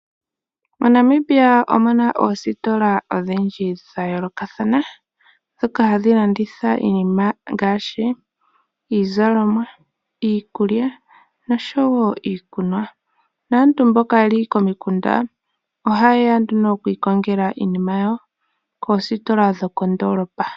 MoNamibia omuna oositola odhindji dhayoolokathana ndhoka hadhi landitha iinima ngaashi iizalomwa, iikulya noshowo iikunwa. Aantu mboka yeli komikunda ohayeya okwiikongela iinima yayo koostola dhoko ndoolopa.